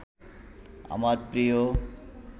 আমার প্রিয়